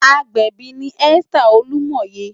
Ágbèbi ni Esther Olumoye